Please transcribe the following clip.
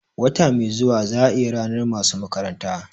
Wata mai zuwa za ayi ranar masu makaranta